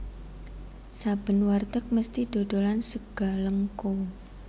Saben warteg mesthi dodolan Sega Lengko